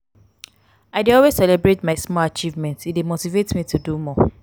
i dey always celebrate my small achievements; e dey motivate me to do more.